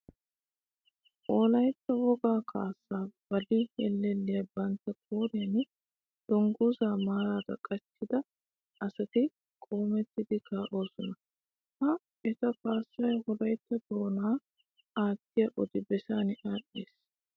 Wolaytta wogaa kaassaa baali hellelliya bantta qooriyan dungguzaa macaraa qachchida asati qoometti kaa'osona. Ha eta kaassay Wolaytta doonaa aattiya odi bessan aadhdhiis.